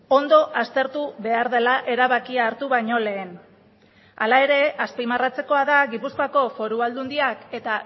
ondo aztertu behar dela erabakia hartu baino lehen hala ere azpimarratzekoa da gipuzkoako foru aldundiak eta